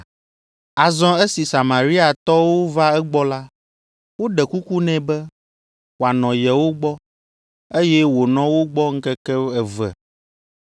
Azɔ esi Samariatɔwo va egbɔ la, woɖe kuku nɛ be, wòanɔ yewo gbɔ, eye wònɔ wo gbɔ ŋkeke eve